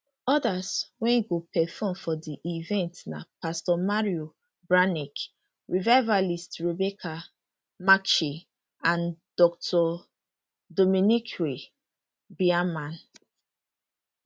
odas wey go perform for di event na pastor mario bramnick revivalist rebecca macchi and dr dominiquae bierman